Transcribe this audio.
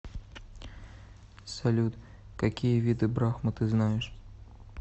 салют какие виды брахма ты знаешь